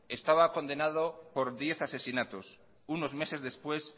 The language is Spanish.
estaba condenado por diez asesinatos unos meses después